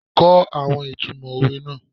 Kó àwọn ìtumò òwe náà.